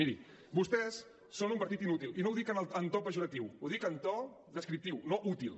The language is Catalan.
mirin vostès són un partit inútil i no ho dic en to pejoratiu ho dic en to descriptiu no útil